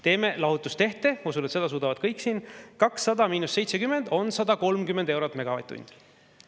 Teeme lahutustehte, ma usun, et seda suudavad kõik siin: 200 miinus 70 on 130 eurot megavatt-tund.